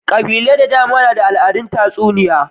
Ƙabilu da dama na da al'adar tatsuniya.